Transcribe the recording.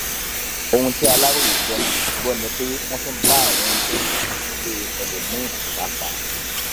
ohun tí aláròye gbọ ni gbọ ni pé wọn tún bá àwọn oúnjẹ ọhún nílé ẹlòmíín pàápàá